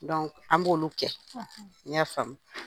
an b'olu kɛ i y'a faamu?